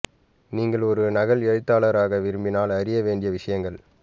நீங்கள் ஒரு நகல் எழுத்தாளர் ஆக விரும்பினால் அறிய வேண்டிய விஷயங்கள்